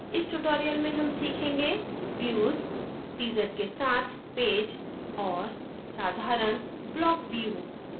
इस tutorial में हम सीखेंगे views teaser के साथ पेज और and साधारण block view